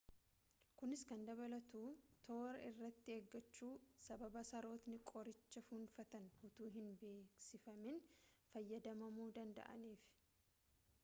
kunis kan dabalatu toora irratti eeggachuu sababa sarootni qoricha fuunfatan utuu hin beeksifamin fayyadamamuu danda'aniif